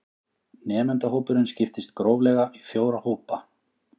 Nemendahópurinn skiptist gróflega í fjóra hópa